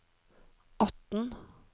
atten